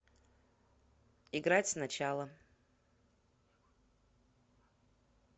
играть сначала